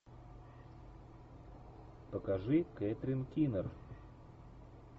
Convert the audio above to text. покажи кэтрин кинер